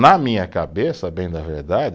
Na minha cabeça, bem da verdade